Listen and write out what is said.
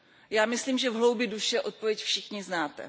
Já myslím, že v hloubi duše odpověď všichni znáte.